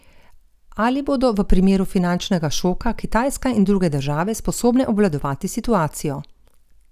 Ali bodo v primeru finančnega šoka Kitajska in druge države sposobne obvladovati situacijo?